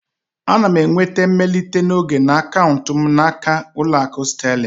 Ana m enweta mmelite n'oge na akaụntụ m n'aka Ụlọakụ Sterling